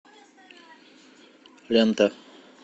лента